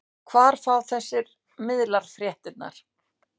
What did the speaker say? Og hvar fá þessir miðlar fréttirnar?